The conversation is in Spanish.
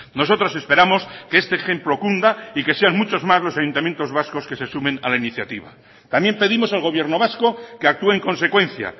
nosotros esperamos que este ejemplo cunda y que sean muchos más los ayuntamientos vascos que se sumen a la iniciativa también pedimos al gobierno vasco que actúe en consecuencia